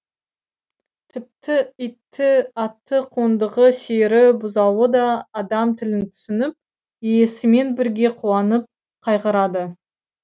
тіпті иті аты қондығы сиыры бұзауы да адам тілін түсініп иесімен бірге қуанып қайғырады